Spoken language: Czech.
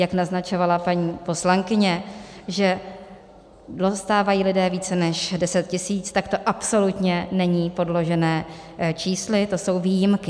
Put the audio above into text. Jak naznačovala paní poslankyně, že dostávají lidé více než 10 tisíci, tak to absolutně není podložené čísly, to jsou výjimky.